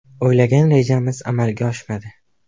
O‘ylagan rejamiz amalga oshmadi.